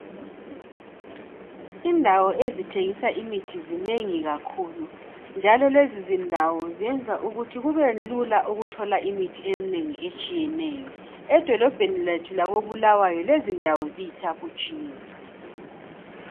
Indawo ezithengisa imithi zinengi kakhulu, njalo lezi zindawo zenza ukuthi kubelula ukuthola imithi eminengi etshiyeneyo. Edolobheni lethu lako Bulawayo lezindawo ziyithaphutshiye.